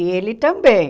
E ele também.